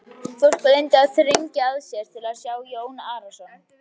Fólk reyndi að þrengja sér til að sjá Jón Arason.